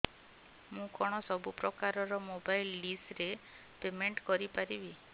ମୁ କଣ ସବୁ ପ୍ରକାର ର ମୋବାଇଲ୍ ଡିସ୍ ର ପେମେଣ୍ଟ କରି ପାରିବି